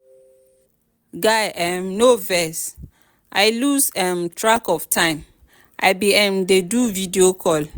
guy um no vex i lose um track of time i bin um dey do video call.